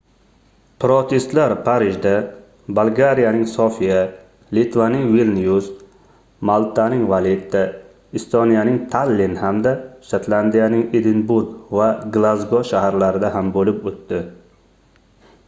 protestlar parijda bolgariyaning sofiya litvaning vilnyus maltaning valetta estoniyaning tallin hamda shotlandiyaning edinburg va glazgo shaharlarida ham boʻlib oʻtdi